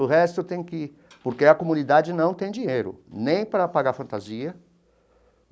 O resto tem que ir, porque a comunidade não tem dinheiro, nem para pagar fantasia.